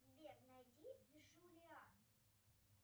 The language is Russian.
сбер найди джулиан